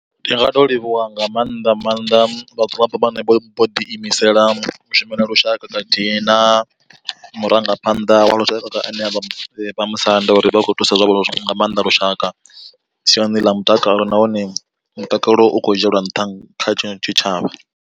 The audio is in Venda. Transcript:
Ndi nga to livhuwa nga maanḓa maanḓa vhadzulapo vhane vho ḓi imisela u shumela lushaka khathihi na murangaphanḓa wa lushaka ane avha vhamusanda uri vha khou thusa nga maanḓa lushaka siani ḽa mutakalo, nahone mutakalo u khou dzhielwa nṱha kha tshitshavha.